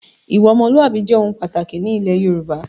Ìwà ọmọlúwàbí jẹ́ ohun pàtàkì ni ilẹ̀ Yorùbá